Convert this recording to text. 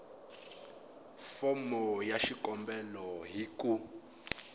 fomo ya xikombelo hi ku